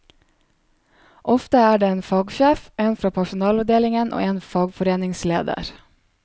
Ofte er det en fagsjef, en fra personalavdelingen og en fagforeningsleder.